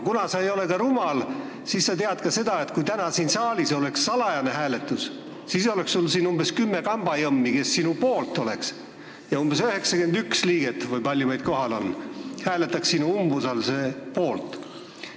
Kuna sa ei ole rumal, siis sa tead ka seda, et kui täna siin saalis oleks salajane hääletus, siis oleks sul siin umbes kümme kambajõmmi, kes sinu poolt oleks, ja umbes 91 liiget – või palju meid kohal on – hääletaks sinu umbusaldamise poolt.